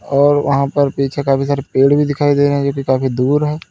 और वहां पर पीछे काफी सारे पेड़ भी दिखाई दे रहे है जो कि काफी दूर है।